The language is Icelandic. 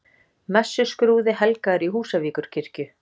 Messuskrúði helgaður í Húsavíkurkirkju